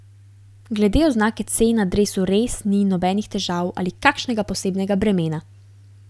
Glede oznake C na dresu res ni nobenih težav ali kakšnega posebnega bremena.